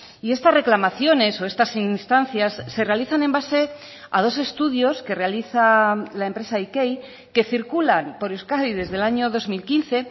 y estas reclamaciones o estas instancias se realizan en base a dos estudios que realiza la empresa ikei que circulan por euskadi desde el año dos mil quince